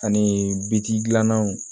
Ani bi dilananw